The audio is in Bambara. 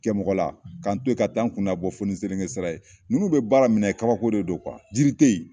Kɛ mɔgɔ la k'an to la ka taa n kuna nabɔ fɔ ni SELENKE sira ye ninnu bɛ baara minɛ yen kabako de don yiri te yen.